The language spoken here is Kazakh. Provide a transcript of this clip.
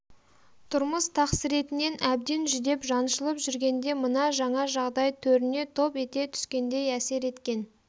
тұрмыс тақсыретінен әбден жүдеп жаншылып жүргенде мына жаңа жағдай төріне топ ете түскендей әсер еткен